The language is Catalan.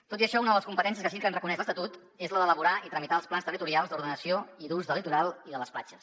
tot i això una de les competències que sí que ens reconeix l’estatut és la d’elaborar i tramitar els plans territorials d’ordenació i d’ús del litoral i de les platges